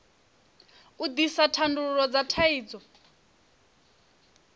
u ḓisa thandululo dza thaidzo